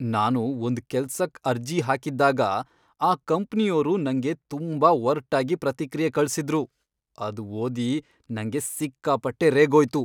ನಾನು ಒಂದ್ ಕೆಲ್ಸಕ್ ಅರ್ಜಿ ಹಾಕಿದ್ದಾಗ ಆ ಕಂಪ್ನಿಯೋರು ನಂಗೆ ತುಂಬಾ ಒರ್ಟಾಗಿ ಪ್ರತಿಕ್ರಿಯೆ ಕಳ್ಸಿದ್ರು, ಅದ್ ಓದಿ ನಂಗೆ ಸಿಕ್ಕಾಪಟ್ಟೆ ರೇಗೋಯ್ತು.